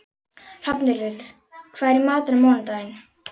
Hrafnhildur, hvað er í matinn á mánudaginn?